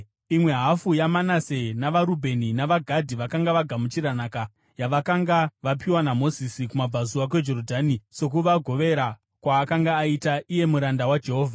Imwe hafu yaManase, navaRubheni navaGadhi, vakanga vagamuchira nhaka yavakanga vapiwa naMozisi kumabvazuva kweJorodhani, sokuvagovera kwaakanga aita, iye muranda waJehovha.